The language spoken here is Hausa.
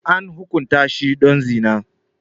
An hukunta shi don zina.